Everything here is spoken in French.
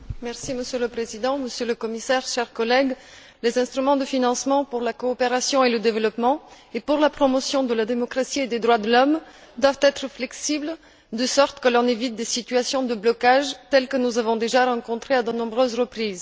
Monsieur le Président, Monsieur le Commissaire, chers collègues, les instruments de financement pour la coopération et le développement et pour la promotion de la démocratie et des droits de l'homme doivent être flexibles afin d'éviter des situations de blocage telles que nous en avons déjà rencontrées à de nombreuses reprises.